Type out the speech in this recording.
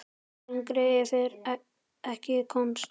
Lengra yrði ekki komist.